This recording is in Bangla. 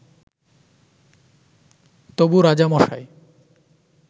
তবু রাজামশাই